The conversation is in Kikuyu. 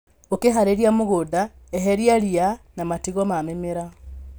Ũkĩharĩrĩria mũgũnda eheria ria na matigio ma mĩmera.